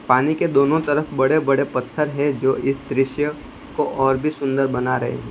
पानी के दोनों तरफ बड़े बड़े पत्थर हैं जो इस दृश्य को और भी सुंदर बना रहे है।